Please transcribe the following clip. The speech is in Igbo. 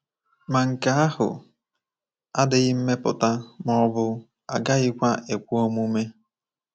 Ma nke ahụ adịghị mmepụta ma ọ bụ agaghịkwa ekwe omume.